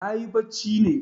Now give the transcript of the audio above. Nayi bacci ne.